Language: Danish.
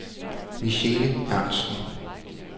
Michele Ernstsen